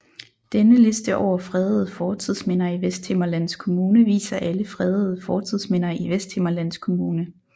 Denne liste over fredede fortidsminder i Vesthimmerlands Kommune viser alle fredede fortidsminder i Vesthimmerlands Kommune